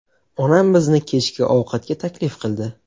Onam bizni kechki ovqatga taklif qildi.